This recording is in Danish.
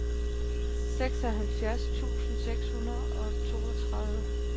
seksoghalvfjerds tusind seks hundrede og toogtredive